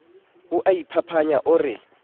o a iphapanya o re